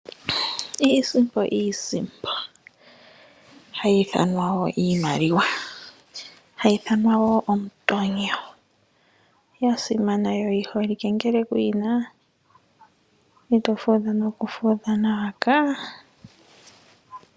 Iisimpo, iisimpo hayi ithanwa wo iimaliwa hayi ithanwa wo omutonyo ya simana yo oyi holike ngele kuyina ito fudha nokufudha nawa kaa.